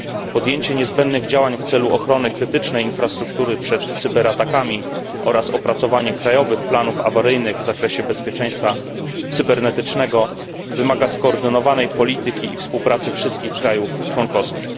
Podjęcie niezbędnych działań w celu ochrony krytycznej infrastruktury przed cyberatakami oraz opracowanie krajowych planów awaryjnych w zakresie bezpieczeństwa cybernetycznego wymaga skoordynowanej polityki i współpracy wszystkich krajów członkowskich.